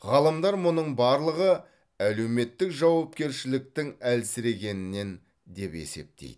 ғалымдар мұның барлығы әлеуметтік жауапкершіліктің әлсірегенінен деп есептейді